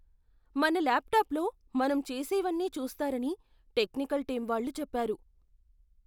మన ల్యాప్టాప్లో మనం చేసేవన్నీ చూస్తారని టెక్నికల్ టీమ్ వాళ్ళు చెప్పారు.